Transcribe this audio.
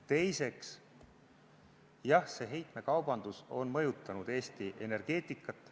Teiseks, jah, heitmekaubandus on mõjutanud Eesti energeetikat.